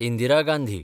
Indira Gandhi